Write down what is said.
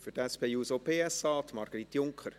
Für die SP-JUSO-PSA-Fraktion Margrit Junker.